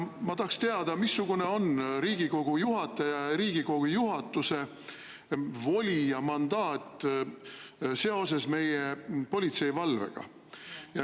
Ma tahaksin teada, missugune on Riigikogu juhataja ja Riigikogu juhatuse voli ja mandaat seoses meie politseivalvega.